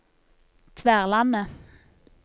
Tverlandet